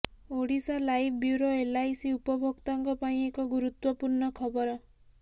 Odisha live bureau LIC ଉପଭୋକ୍ତାଙ୍କ ପାଇଁ ଏକ ଗୁରୁତ୍ୱପୂର୍ଣ୍ଣ ଖବର